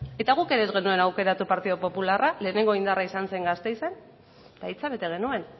eta guk ere ez genuen aukeratu partidu popularra lehenengo indarra izan zen gasteizen eta hitza bete genuen